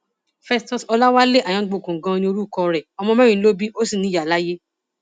festus ọlàwálé ayáǹgbòkun ganan ní orúkọ rẹ ọmọ mẹrin ló bí ó sì ní ìyá láyé